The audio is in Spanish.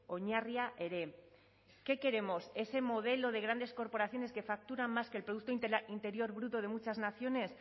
oinarria ere qué queremos ese modelo de grandes corporaciones que facturan más que el producto interior bruto de muchas naciones